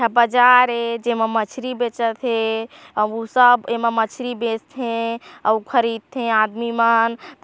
बाजार ए जेमा मछरी बेचत हेअउ एमा सब एमा मछरी बेचथे अउ खरीदथे आदमी मन।